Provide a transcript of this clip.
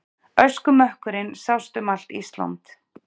Öskumökkurinn sást um allt Ísland.